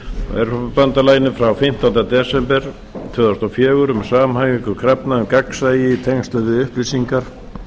e b frá fimmtánda desember tvö þúsund og fjögur um samhæfingu krafna um gagnsæi í tengslum við upplýsingar